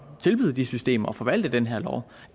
tilbyde de systemer og forvalte den her lov